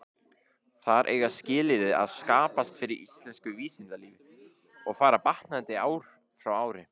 Þar eiga skilyrði að skapast fyrir íslensku vísindalífi, og fara batnandi ár frá ári.